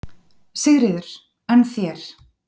Sigríður: En þér?